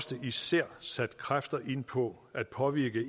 især sat kræfter ind på at påvirke